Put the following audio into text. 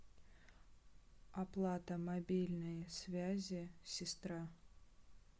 оплата мобильной связи сестра